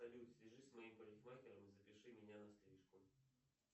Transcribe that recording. салют свяжись с моим парикмахером и запиши меня на стрижку